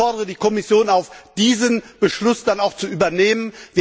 Ich fordere die Kommission auf, diesen Beschluss dann auch zu übernehmen.